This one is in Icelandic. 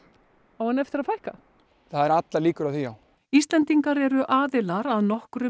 á henni eftir að fækka það eru allar líkur á því já Íslendingar eru aðilar að nokkrum